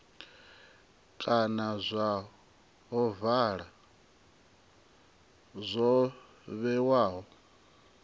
kana zwa ovala zwo vhewaho